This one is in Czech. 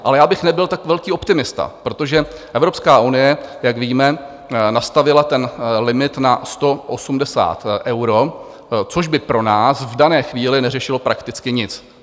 Ale já bych nebyl tak velký optimista, protože Evropská unie, jak víme, nastavila ten limit na 180 eur, což by pro nás v dané chvíli neřešilo prakticky nic.